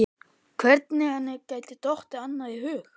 Hvernig henni geti dottið annað í hug?